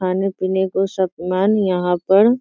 खाने पीने को सामान यहाँ पर --